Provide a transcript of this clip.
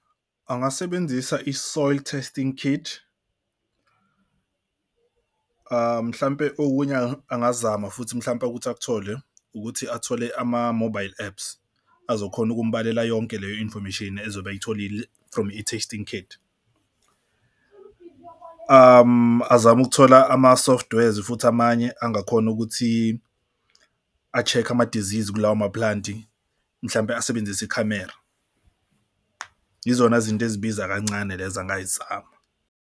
Angasebenzisa i-soil testing kit mhlampe okunye angazama futhi mhlawumpe ukuthi akuthole ukuthi athole ama-mobile apps azokhona ukumbalekela yonke leyo information ezobe eyitholile from i-testing kit. Azame ukuthola ama-softwares futhi amanye angakhona ukuthi a-check amadizizi kulawa ama-plant-i mhlampe asebenzise ikhamera. Yizona zinto ezibiza kancane lezo angayizama.